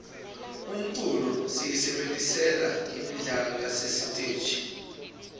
umculo siyisebentisela imidlalo yasesiteji